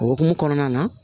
O hokumu kɔnɔna na